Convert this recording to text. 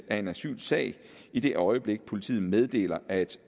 af en asylsag i det øjeblik politiet meddeler at